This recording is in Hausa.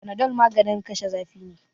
Panadol maganin kashe zafi ne.